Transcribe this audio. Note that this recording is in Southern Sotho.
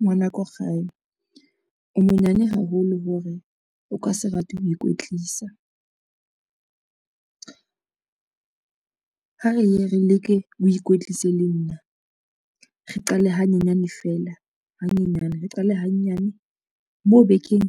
Ngwana ko gae, o monyane haholo hore o ka se rate ho ikwetlisa. Ha re ye re leke o ikwetlise le nna, re qale hanyenyane feela hanyenyane, re qale hanyane mo bekeng.